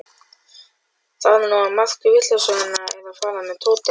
Það væri nú margt vitlausara en að fara með Tóta.